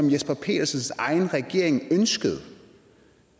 jesper petersens egen regering ønskede